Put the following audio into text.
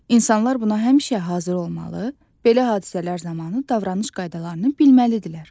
İnsanlar buna həmişə hazır olmalı, belə hadisələr zamanı davranış qaydalarını bilməlidirlər.